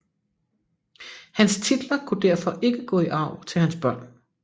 Hans titler kunne derfor ikke gå i arv til hans børn